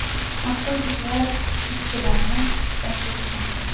Avtobuslar ishchilarni tashiyotgandi.